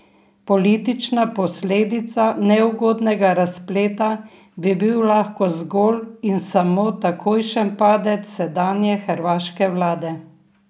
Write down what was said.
Politična posledica neugodnega razpleta bi bil lahko zgolj in samo takojšen padec sedanje hrvaške vlade.